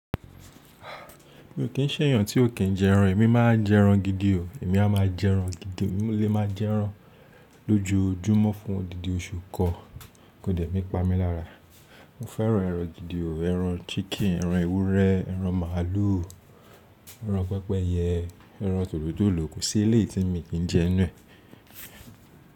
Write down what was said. Mi ò kí ń ṣẹ́ èèyàn tí ò kí ń jẹ ẹran. Èmi máa n jẹ ẹran gidi o. Èmi a máa jẹ ẹran gidi. Èmi lè máa jẹ ẹran lójoójúmọ́ fún odidi oṣù kan, kò dẹ̀ nì pamí lára. Mo fẹ́ràn ẹran gidi o. Ẹran chicken, ẹran ewúrẹ́, ẹran màlúù, ẹran pẹ́pẹ́yẹ, ẹran tòlótòló, kò sí eléyi tí mi kì í jẹ 'nuẹ.